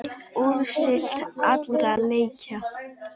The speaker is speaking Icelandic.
Úrslit allra leikja